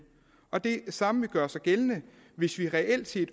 og det samme vil gøre sig gældende hvis vi reelt set